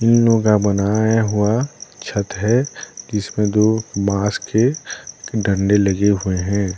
नोगा का बनाया हुआ छत है इसमे दो बांस के डंडे लगे हुए हैं ।